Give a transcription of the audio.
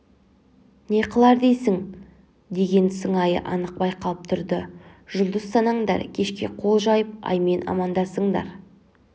не қылар дейсің деген сыңайы анық байқалып тұрды жұлдыз санаңдар кешке қол жайып аймен амандасыңдар